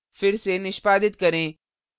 फिर से निष्पादित करें